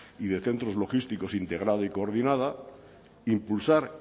y de centros logísticos integrada y coordinada impulsar